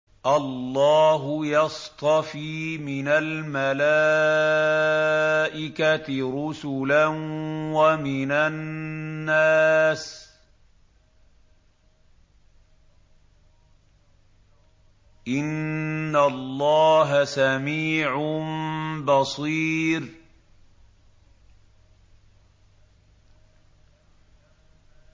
اللَّهُ يَصْطَفِي مِنَ الْمَلَائِكَةِ رُسُلًا وَمِنَ النَّاسِ ۚ إِنَّ اللَّهَ سَمِيعٌ بَصِيرٌ